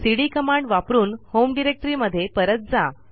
CD command वापरून home डिरेक्टरीमध्ये परत जा